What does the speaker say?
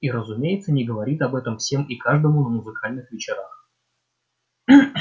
и разумеется не говорит об этом всем и каждому на музыкальных вечерах